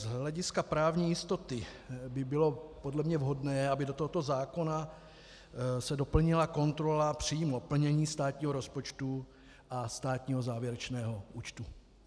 Z hlediska právní jistoty by bylo podle mě vhodné, aby do tohoto zákona se doplnila kontrola přímo plnění státního rozpočtu a státního závěrečného účtu.